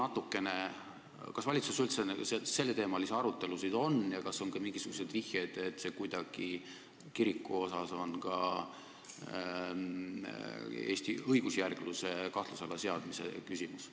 Öelge, kas valitsuses üldse selleteemalisi arutelusid on olnud ja kas on olnud mingisuguseid viiteid, et kiriku puhul on tegu ka Eesti õigusjärgluse kahtluse alla seadmisega!